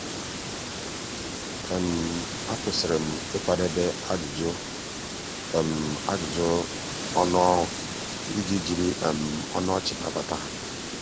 akwụsịrị m um ịkwadebe ajụjụ ajụjụ ọnụ ọrụ iji jiri ọnụ um ọchị nabata ha.